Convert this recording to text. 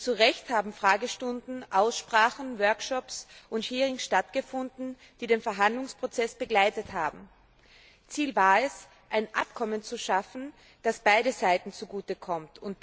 Und zu Recht haben Fragestunden, Aussprachen, Workshops und Hearings stattgefunden, die den Verhandlungsprozess begleitet haben. Ziel war es, ein Abkommen zu schaffen, das beiden Seiten zugute kommt.